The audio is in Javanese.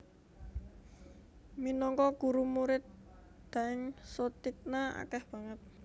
Minangka guru Murid Daeng Soetigna akeh banget